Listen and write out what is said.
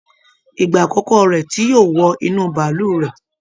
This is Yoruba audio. Ìgbà àkọkọ rẹ tí yóò wọ inú bàálù rè.